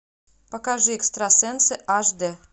покажи экстрасенсы аш д